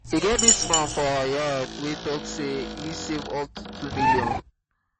e get dis man for our yard wey talk say he save up to 2 million